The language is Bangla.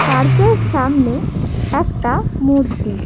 পার্ক -এর সামনে একটা মূর্তি।